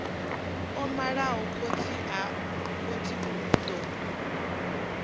o malaho khotsi u ḓo